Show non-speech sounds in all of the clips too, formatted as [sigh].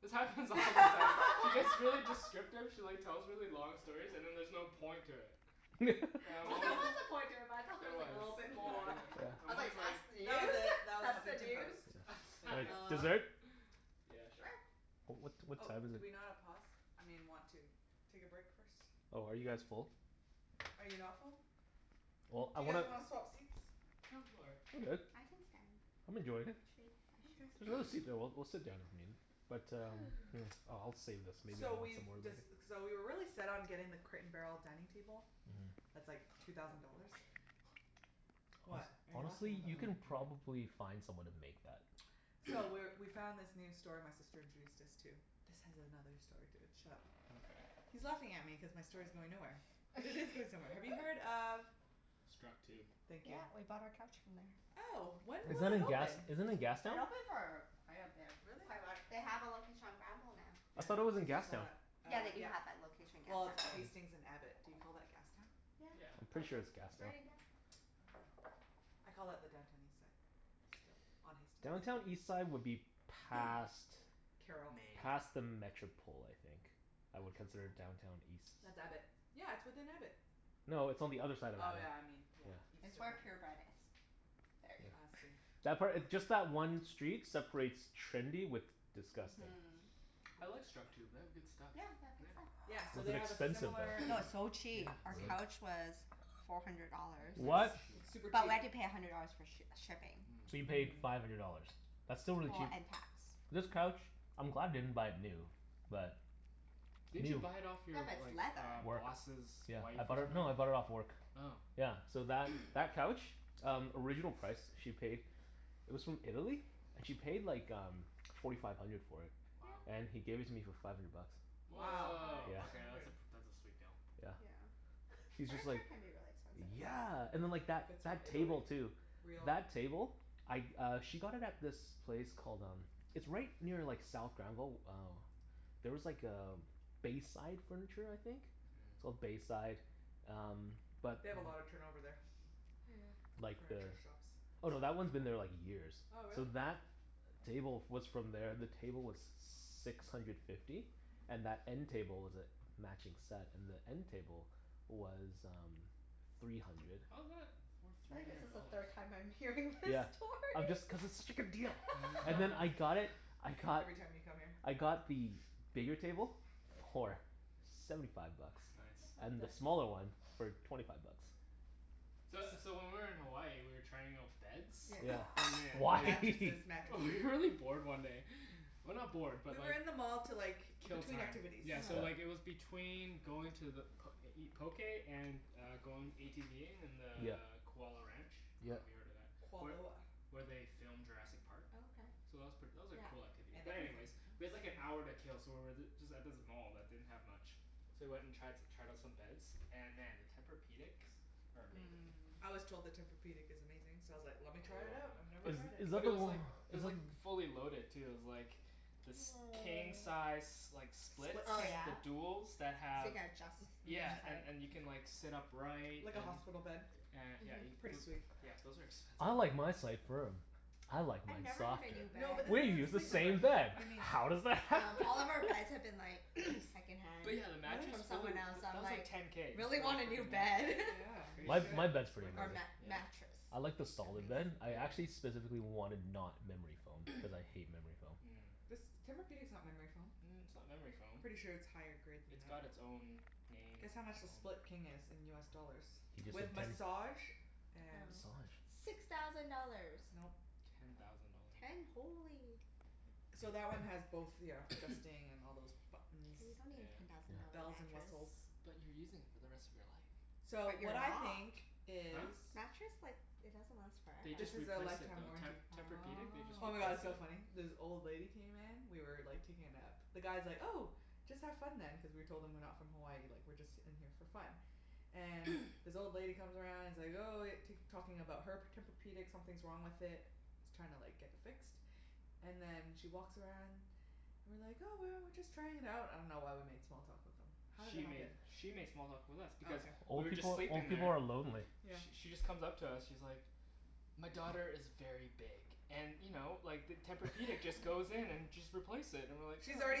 This happens all the time. She gets really [laughs] descriptive she like tells really long stories, and then there's no point to it. And [laughs] I'm Well, always there was a [laughs] point to it but I thought there There was like a was. little [laughs] bit Yeah, more. exactly. Yeah. I I'm was always like, like "That's That was news? it. That was That's the Huffington news?" Post. Yeah. Thank Like, you. [laughs] Oh. dessert? Yeah, sure. Sure. Oh, what what Oh, time is do it? we not a pause? I mean want to take a break first? Oh, are you guys full? Are you not full? Well, Do I you guys wanna wanna swap seats? No, I'm all right. I'm good. I can stand. I'm Actually, enjoying it. Mkay. There's I another should stand. seat there. [noise] We'll we'll sit down [inaudible] But um, hmm, Ooh. uh I'll save this. Maybe So I'll have we've some more later. dec- so we were really set on getting the Crate and Barrel dining table. Mhm. That's like two thousand dollars. [noise] Hone- What are you laughing honestly? about? You can [inaudible] probably find someone to make that. So, [noise] we're we found this new store my sister introduced us to. This has another story to it. Shut up. Okay. He's laughing at me cuz my story's going nowhere. But it is going somewhere. Have you heard [laughs] of Structube. Thank you. Yeah, we bought our couch from there. Oh, when Is was that it in gas, open? is that in It's Gastown? been open for quite a bit. Really? Quite a while. They have a Yeah. location on Granville now. I thought it was Yeah. in I saw Gastown. that, Yeah, uh, they do yeah. have that location in Well, Gastown it's too. Hmm. Hastings and Abbott. Do you call that Gastown? Yeah. Yeah. Oh, Pretty sure okay. it's Gastown. Right in Gastown. Oh. I call it the Downtown Eastside, still, on Hastings. Downtown Eastside would be [noise] past Carrall. Main. past the Metropol, I think. I would consider Metropol? Downtown East- That's Abbott. Yeah, it's within Abbott. No, it's on the other side of Oh Abbott. yeah, I mean, yeah. Yeah. East It's of where that. Pure Bread is. Yeah. There ya I go. see. [noise] That part, just that one street separates trendy with disgusting. Mhm. I like Structube. They have good stuff. Yeah, they have good stuff. Yeah. Yeah, so Was they it have a expensive, similar though? No, [noise] it's so Yeah, cheap. Our it's like Really? couch was four hundred dollars. Yeah, Nice. they're What? cheap. It's super But cheap. we had to pay a hundred dollars for sh- shipping. So you Mm. paid Mhm. five hundred dollars? That's still really Well, cheap. and tax. Yeah. This couch, I'm glad I didn't buy it new. But Didn't you new buy it off Yeah, your but it's like leather. Work. boss's Yeah. I wife or bought it, no, I bought it off something? work. Oh. Yeah, so that [noise] that couch? Um, original price she paid it was from Italy and she paid like um forty five hundred for it. Wow. Yeah. And he gave it to me for five hundred bucks. Nice Wow. Woah, surprise. Yeah. Five okay that's hundred. a pr- that's a sweet deal. Yeah. Yeah. He was just like, Furniture can be really expensive. yeah and then Mhm. like that If it's from that Italy. table, too. Real. That table? I uh she got it at this place called um it's right near like South Granville. Oh there was like a Bayside Furniture, I think? It's Mm. called Bayside, um but They have a lot of turnover there. Yeah. Like the, Furniture shops. oh, no, that one's been there [inaudible] like years. Oh, really? So that table f- was from there. The table was six hundred fifty. And that end table was a matching set. And the end table was um three hundred. How's that worth I three think this hundred is the dollars? third time I'm hearing this Yeah. I'm story. just, cuz it's such a good deal! And then I [laughs] got it, [laughs] I got Every time you come here. I got the bigger table for seventy five bucks. It's nice. And the Nice. [laughs] smaller one for [noise] twenty five bucks. So so when we were in Hawaii we were trying out beds Yeah. and then Why? [laughs] [laughs] Mattresses. Mattresses. We were really bored one day. Well, not bored, but We were like in the mall to like, Kill between time. activities. Yeah, Yeah. so uh-huh. like it was between going to the p- to eat poké and uh going ATVing in the Yeah. Kualoa Ranch. I Yeah. dunno if you've heard of that? Where Kualoa. where they filmed Jurassic Park. Oh, okay. So that was pret- that was a Yeah. cool activity, And but anyways we had like an everything hour to else. [noise] kill so we were th- just at this mall that didn't have much. So we went and tri- tried out some beds. And man, the Tempur-pedics are amazing. Mmm. I was told the Tempur-pedic is amazing, so I was like, I "Let me really try want it out. one. I've never Is But tried it." is that but it the was o- like, it is was that like fully loaded, too. It was like this king [noise] size s- like split Split Oh King. the yeah? duals that So you have can adjust Mhm. each Yeah, and side. and you can like sit upright and Like a hospital [noise] bed. a- yeah Mhm. you Pretty sweet. c- those are [noise] expensive, "I like though. my side firm." "I like I've mine never had softer." a new No bed. but this We use isn't the Sleep Number. same bed. What do you mean? How does that Um, happen? all of our beds have [laughs] been [laughs] like [noise] second hand But yeah the Really? mattress, from holy, someone else, so that I'm was like like ten k, just really for a want a new frickin' bed. mattress. Yeah, [laughs] you Crazy. My my should. bed's It's pretty worth Or it. amazing. mat- Yeah? mattress. I like the That piece. solid bed. Yeah. I actually Yeah. specifically wanted not memory foam, cuz I hate memory foam. Mm. This, Tempur-pedic's not memory foam. Mm, it's not memory foam. Pretty sure it's higher grade than It's got that. it's own named Guess how much the foam. Split King is in US dollars? He just said With ten massage and Oh. Massage? Six thousand dollars! Nope. Ten thousand dollars. Ten? Holy. So that one has [noise] both, ya know, [noise] adjusting, and all those K, buttons. you don't need Yeah. a ten thousand dollar Yeah. Bells and mattress. whistles. But you're using it for the rest of your life. So, But you're what I not. think is Huh? Mattress like, it doesn't last They This forever. just is a replaced it, lifetime though. Te- warranty. Tempur-pedic, they just Oh Oh. my god, it's replaced so funny. it. This old lady came in we were like taking a nap. The guy's like, "Oh, just have fun then" cuz we told him we're not from Hawaii. Like we're just in here for fun. And [noise] this old lady comes around and is like, "Oh," tak- talking about her p- Tempur-pedic. Something's wrong with it. She's trying like to get it fixed. And then she walks around and we're like, "Oh, well, we're just trying it out." I dunno why we made small talk with them. How did that She happen? made she made small talk with us Oh, because okay. we Old were just people, sleeping old people there are lonely. Yeah. Sh- she just comes up to us. She's like "My daughter is very big and you know, like the Tempur-pedic just [laughs] goes in and just replace it." And we're like, She's "Oh, that's already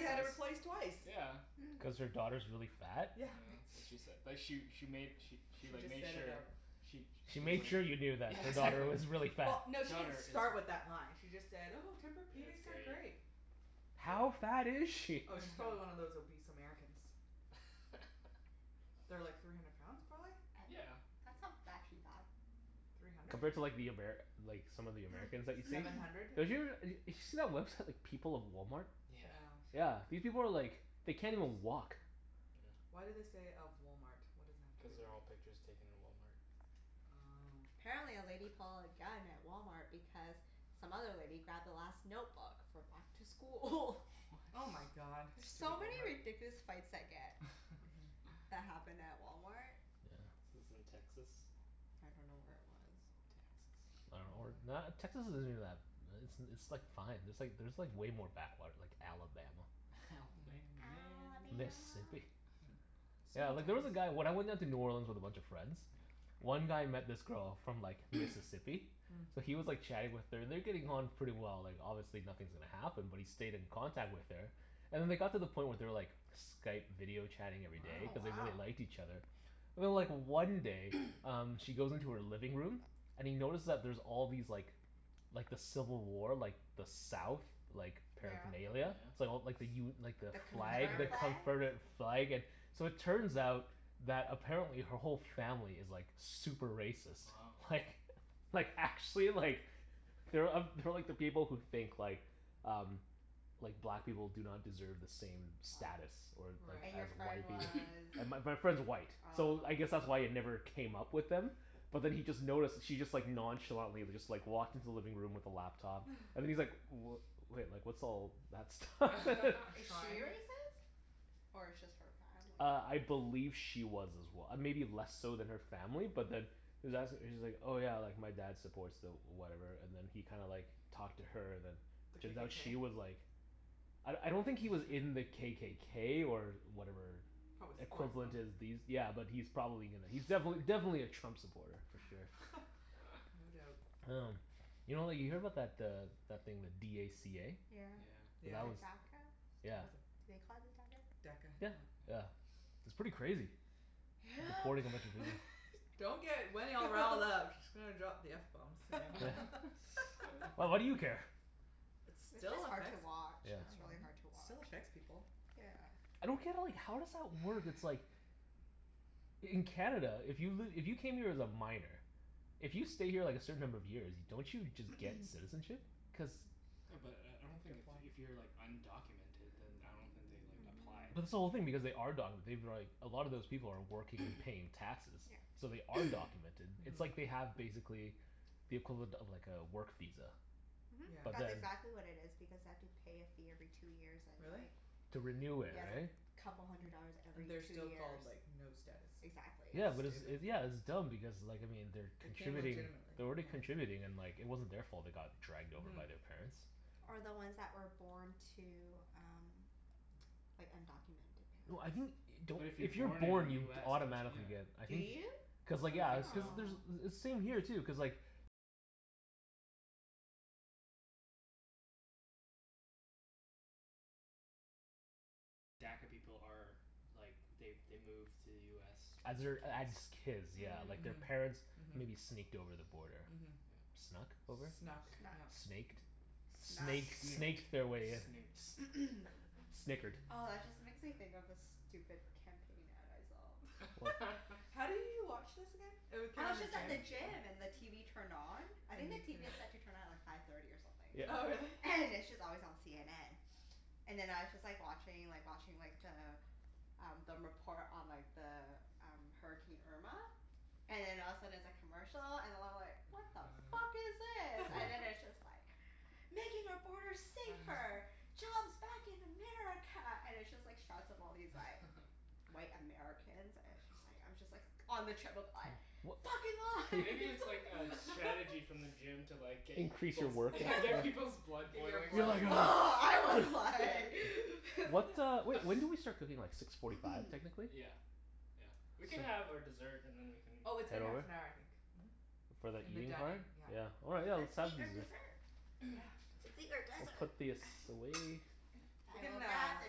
had it nice." replaced twice. Yeah. Mm. Cuz her daughter's really fat? Yeah, Yeah. [noise] that's what she said. [laughs] But she she made she she She like just made said it sure out she She she was made like, sure you knew that yeah, her daughter Yeah. exactly. was really fat. Well, no, she didn't Daughter is start with that line. She just said, "Oh, It's Tempur-pedics are great. great." How fat is Yeah. she? Oh, she's probably one of those [laughs] obese Americans. [laughs] They're like three hundred pounds, prolly? A- Yeah. that's not actually bad. Three hundred? Compared to like the [inaudible] Amer- like some of the Americans that you see? Seven [noise] hundred. They're us- d- did you see that website People of Walmart? Yeah. Yeah. Yeah. These people are like, they can't even walk. [noise] Why do they say, "of Walmart?" What does that have to do Cuz they're with all it? pictures taken in Walmart. Oh. Apparently a lady pulled a gun at Walmart because some other lady grabbed the last notebook for back to school. [laughs] Oh my What? god. There's Stupid so many Walmart. ridiculous fights that get Mhm. that [laughs] happen at Walmart. Yeah. This is in Texas? I don't know where it was. I Texas. dunno. Or Probably. not, Texas isn't even that, it's it's like fine. There's like there's like way more backwater, like Alabama. [laughs] Alabama Mm. man. Alabama. Mississippi. [laughs] Yeah, Small like there was towns. a guy, when I went down to New Orleans with a bunch of friends Yeah. one guy met this girl from like [noise] Mississippi. Mm. So Mm. he was like chatting with her. And they're getting on pretty well. Like, obviously nothing's gonna happen, but he stayed in contact with her. And then they got to the point where they were like Skype video chatting every day Oh, cuz they Wow. wow. really liked each other. And then like one day [noise] um she goes into her living room and he notices that there's all these like like the civil war, like the south like Yeah. Oh yeah? paraphernalia. So like the u- like the The flag, the Confederate Confederate. flag? confederate flag and So it turns out that apparently her whole family is like super racist. Wow. Like, like actually like they're uh they're like the people who think like um like black people do not deserve the same Wow. status. Or or And your as Right. friend white was people. And my [noise] my friend's white, so Oh. I guess that's why it never came up with them but then he just noticed she just like nonchalantly just like walked into the living room with the laptop [laughs] and he's like, "W- wait, like what's all that stuff?" [laughs] A [laughs] Is she shrine. racist? Or it's just her family? Uh, I believe she was as well. Maybe less so than her family but then he was as- she's like, "Oh yeah, like my dad supports the whatever," and then he kinda like talked to her and then The turns out KKK? she was like I I don't think he was in the [laughs] KKK or whatever Probably supports them. equivalent is these, yeah but he's probably gonna, he's [noise] [noise] defin- definitely a Trump supporter, for sure. [laughs] [laughs] No doubt. Um, you know like you hear about that uh that thing, the d a c a? Yeah, Yeah. But Yeah. the that DACA? was, yeah. Was [inaudible] it, do they call it DACA? DACA, Yeah. yeah. Yeah. It's pretty crazy. Yep. [noise] Deporting a bunch of people. [laughs] Don't get Wenny all riled up. [laughs] She's gonna drop the f bomb soon. [laughs] [laughs] [laughs] [noise] Well, what do you care? It It's still just hard to affects, watch. I Yeah. It's really dunno. hard to It still watch. affects people. Yeah. I don't get like, how does that work? It's like In Canada, if you've li- if you came here as a minor if you stay here like a certain number of years, don't you just get [noise] citizenship? Cuz Yeah, but I I You don't have to think if apply. if you're like undocumented then I don't think they like applied Mhm. or But this whole thing, anything. because they are documented. They've been like, a lot of those people are working, they're [noise] paying taxes. Yeah. So they are [noise] documented. It's like Mhm. they have, basically the equivalent of like a work visa. Mhm. Yeah. But That's then exactly what it is because they have to pay a fee every two years and Really? like To renew it, Yeah, it's like right? couple hundred dollars Mm. And every they're two still years. called, like, no status. Exactly. Yeah That's but it's stupid. it, yeah it's dumb because like I mean, they're They came contributing legitimately. they're already contributing and like it wasn't their fault they got dragged over Mhm. by their parents. Or the Mm. ones that were born to um [noise] like undocumented No, I think, parents. don't, But if you're if you're born in born you US don't y- automatically get yeah. I Do think you? I cuz like would yeah. think Cuz so. Oh. there's, same here too, cuz like As their, as kids, yeah. Like, Hmm. their Yeah. Mhm. parents maybe Mhm. sneaked over the border. Mhm. Yeah. Snuck over? Snuck. Snuck, Snuck. yeah. Snaked? Snuck. Snake Snooked. snaked their way in. S- Snooked. [noise] [noise] snickered. Oh, that just makes me think of this stupid campaign ad I saw. What? [laughs] [laughs] How do you watch this again? It w- came I in was the just At at the the gym? gym. gym and the TV turned on. I think And the you couldn't TV is set to turn on at like five thirty or something. Oh, really? Yeah. And it's just always on CNN. And then I was just like watching like watching like the um the report on like the um, Hurricane Irma. And then all of a sudden it's a commercial, and I'm like "What the fuck [laughs] is this?" And then [noise] it's [laughs] just like "Making our borders safer!" [laughs] "Jobs back in America!" And it's just like shots of all these like [laughs] white Americans and it's just like, I'm just like on the treadmill like [noise] W- "Fucking Maybe it's [laughs] like a lies!" strategy [laughs] from the [laughs] gym to like get y- Increase your people's workout, Yeah, [laughs] yeah. get people's blood Get your boiling You're blood like [inaudible] [laughs] I was [noise] Yeah. like [laughs] What uh, wh- [noise] when [laughs] did we start cooking? Like six forty five [noise] technically? Yeah. Yeah. We can So have our dessert and then we can Oh, it's been Head half over? an hour, I think. Mhm. For the And the eating dining, part? yeah. Yeah, all right let's Let's eat our [inaudible] dessert. [noise] Yeah, Let's eat our Dessert. desserts. We'll desert. put this away. We I will can grab uh the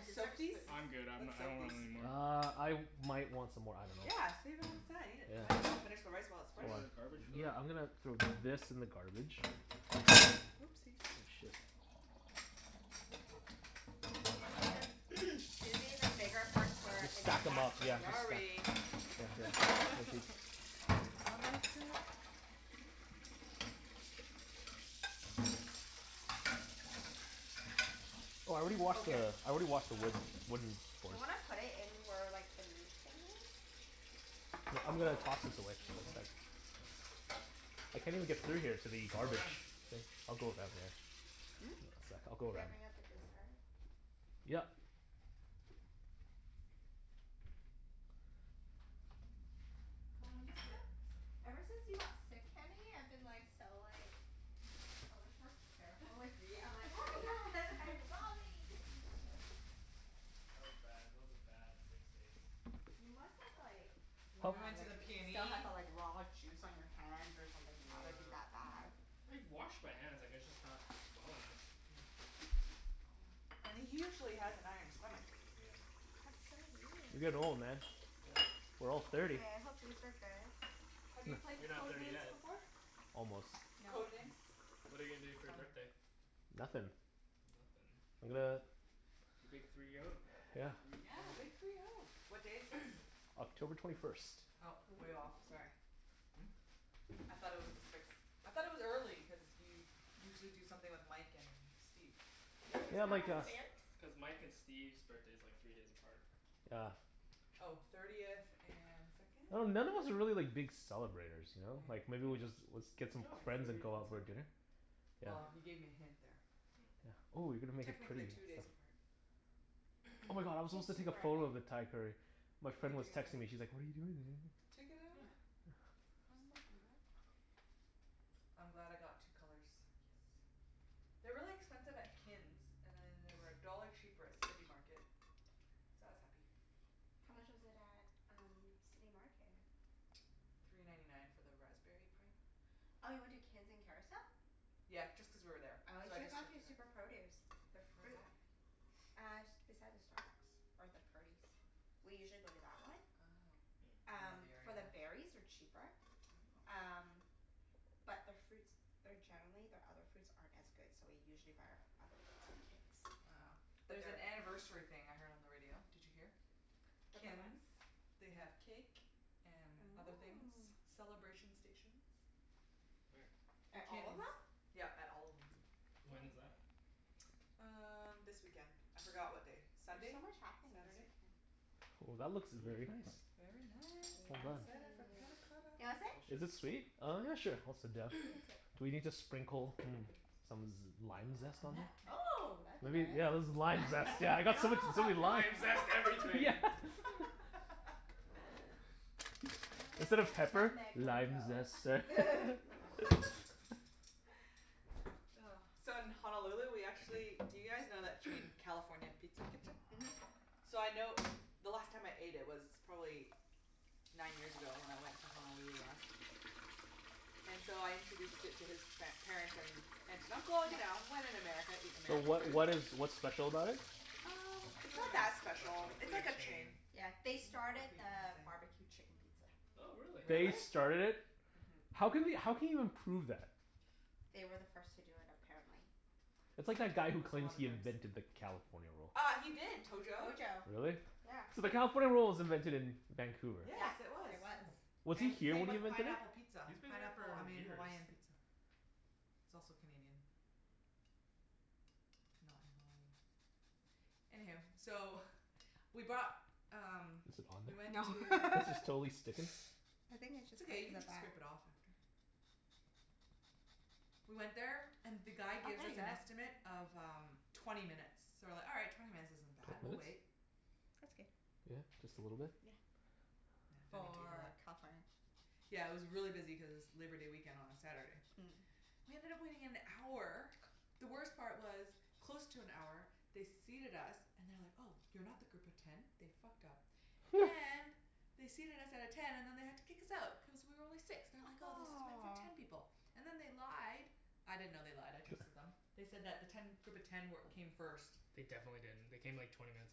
dessert soak these? spoons. I'm good. I'm n- Let's I soak don't these. want anymore. Uh, I might want some more. I dunno. Yeah, save it on the side. Eat it. Yeah. Might as well finish the rice while it's Is fresh. Hold there on. a garbage for Yeah, that? I'm gonna throw this in the garbage. Whoopsies. Oh shit. Susie the [noise] Susie, the bigger forks were Just in the stack 'em back up. Yeah, corner. just stack Sorry. [laughs] Yeah, yeah. [inaudible] I messed up. Oh, I already Oh, washed the, here. I already washed the Oh. wood Do wooden board. you wanna put it in where like the meat thing is? Yeah, I'm gonna Hmm? toss this away. Yeah. [inaudible] I can't even get through here to the Go garbage. around. I'll go around there. Hmm? One sec. I'll go Should I around. bring out the dessert? Yep. Why I've don't you just sit? felt Ever since you got sick, Kenny, I've been like so like [laughs] so much more careful with meat. I'm like, "Oh my god, [laughs] like [noise] raw meat." [laughs] [laughs] That was bad. That was a bad six Oh. days. You must have like yeah, And we Help. went to like the still have PNE. the like raw juice on your hands or something to have it be Yeah. that bad. I washed my hands. I guess just not well enough. Hmm. [noise] And he usually has an iron stomach. Oh yeah. That's so You're weird. getting old, man. Mm, We're all mm. thirty. Hey, I hope these are good. Have you Heh. played You're not Code thirty Names yet. before? Almost. No. Code Names? What are you gonna do It's for your fun. birthday? Nothin'. Nothin'? I'm gonna The big three [noise] oh. Yeah. Three Yeah, big oh. three oh. What day is sixth? [noise] October twenty first. Oh, Ooh. way off. Sorry. Hmm? I thought it was the sixth. I thought it was early cuz you usually do something with Mike and Steve. Yeah, cuz Can Yeah, I Mike like pass and the a berries? S- cuz Mike and [noise] Steve's birthday's like three days apart. Yeah. Oh. Thirtieth and second, I dun- none of us third? are really like big celebrators, ya know? Like Yeah. maybe we just, was, Yeah. get Good some job. friends and Thirtieth go and out for a second. dinner. Well, Yeah. you Yeah. gave me a hint there. Oh. Yeah. Ooh you're gonna make it pretty Technically and two days stuff. apart. Oh my [noise] god, I was supposed to take a photo [inaudible] of the Thai curry. My You can friend was texting me, [inaudible] she's like, "What are you doing today?" Take another Yeah. one. Yeah. [noise] [inaudible] I'm glad I got two colors. Yes. They're really expensive at Kin's, and then they were a dollar cheaper at City Market. So I was happy. How much was it at um City Market? Three ninety nine for the raspberry Oh. pint. Oh, you went to Kin's in Kerrisdale? Yeah, just cuz we were there. Oh, you So I should have just gone checked to it out. Super Produce. Their Where's fruit that? [noise] Uh, s- beside the Starbucks or the Purdy's. We usually go to that one. Oh. Hmm. I don't know Um, the area for the enough. berries are cheaper. Oh. Um, but their fruits they're generally, their other fruits aren't as good, so we usually buy our other fruits at Kin's. Oh. But There's an their anniversary thing I heard on the radio. Did you hear? About what? Kin's. They have cake and other things. Oh. Celebration stations. Where? At At all of Kin's. them? Yep, at all of them. When is Oh. that? [noise] Um, this weekend. I forgot what day. There's Sunday? so much happening this Saturday? weekend. Ooh, that looks Mmm. very nice. Very nice. Well I'm done. excited for panna Yeah. cotta. Do you wanna sit? Is it Delicious. sweet? Oh yeah, sure. I'll sit down. You [noise] can sit. Do we need to sprinkle, mm, some z- lime zest on there? Nutmeg. Oh, that'd be Maybe, good. yeah that's the lime Nutmeg? zest. Yeah, I I got so much, dunno so many about [laughs] limes. Lime Nutmeg. zest Yeah. everything! [laughs] [laughs] I Funny. Instead dunno of if pepper. nutmeg will "Lime go. zest, sir?" [laughs] [laughs] [laughs] Oh. So, in Honolulu we Thank actually, do you guys know that you. chain, [noise] California Pizza Kitchen? Mhm. So I know, the last time I ate it was probably nine years ago, when I went to Honolulu last. And so I introduced it to his par- parents, and aunt and uncle. You Yeah. know, when in America eat So American what food. what is what's special about it? Um, It's it's not not really that special. special. It's It's like like a a chain. chain. Yeah. Can They you not started repeat what I the say? barbecue chicken pizza. Oh, really? Really? They started it? Mhm. How can we how can you even prove that? They were the first to do it, apparently. That's Oh, like that guy who there's a claims lot of he claims. invented the California Roll. Uh, he did. Tojo. Tojo. Really? Yeah. So the [laughs] California Roll was invented in Vancouver. Yeah, Yes, it was. there was. Hmm. Was he And here same when he with invented pineapple it? pizza. He's been here Pineapple, I for mean years. Hawaiian pizza. It's also Canadian. Not in Hawaii. Anyhoo, so [noise] we bought um Is it on we went No. to there? This is [laughs] totally sticking. I think it's It's just stuck okay. You to can the just back. scrape it off after. We went there and the guy Oh, gives there us ya an go. estimate of um twenty minutes. So we're like, "All right. Twenty minutes isn't bad. Twenty We'll wait." minutes? That's good. Yeah? Just a little bit? Yeah. Yeah, don't need to For eat [inaudible] California? Yeah, it was really busy cuz it's [noise] Labor Day weekend on a Saturday. Mm. We ended up waiting an hour. The worst part was, close to an hour they seated us and they're like, "Oh, you're not the group of ten." They fucked up [noise] and they seated us at a ten and then they had to kick us out, cuz we were only six. They're like, [noise] Ah "Oh, this is meant for ten aw. people." And then they lied. I didn't know they lied. I trusted [laughs] them. They said that the ten group of ten wer- came first. They definitely didn't. They came like twenty minutes